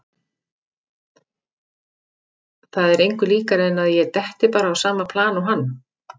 Það er engu líkara en að ég detti bara á sama plan og hann.